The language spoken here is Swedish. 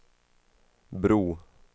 bro